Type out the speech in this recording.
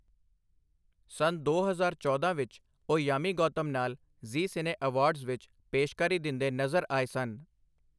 ਸੰਨ ਦੋ ਹਜ਼ਾਰ ਚੌਦਾਂ ਵਿੱਚ ਉਹ ਯਾਮੀ ਗੌਤਮ ਨਾਲ ਜ਼ੀ ਸਿਨੇ ਐਵਾਰਡਜ਼ ਵਿੱਚ ਪੇਸ਼ਕਾਰੀ ਦਿੰਦੇ ਨਜ਼ਰ ਆਏ ਸਨ।